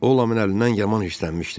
O Laman əlindən yaman hirslənmişdi.